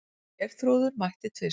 Geirþrúður mætti tvisvar.